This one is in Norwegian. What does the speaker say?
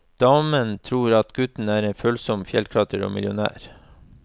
Damen tror at gutten er en følsom fjellklatrer og millionær.